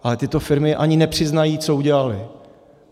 Ale tyto firmy ani nepřiznají, co udělaly.